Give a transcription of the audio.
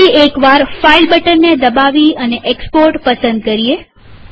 ફરી એકવાર ફાઈલ બટનને દબાવીએ અને એક્સપોર્ટ પસંદ કરીએ